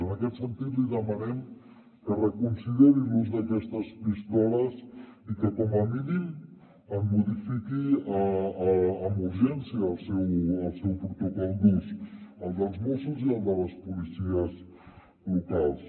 en aquest sentit li demanem que reconsideri l’ús d’aquestes pistoles i que com a mínim en modifiqui amb urgència el protocol d’ús el dels mossos i el de les policies locals